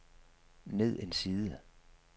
ned en side